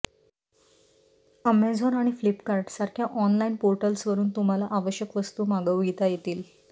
Amazon आणि फ्लिपकार्ट सारख्या online पोर्टल्सवरून तुम्हाला आवश्यक वस्तू मागविता येतील